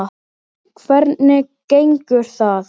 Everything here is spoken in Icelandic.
Hvernig gengur það?